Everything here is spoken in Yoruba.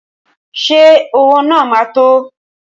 Ṣé owó náà ma tó?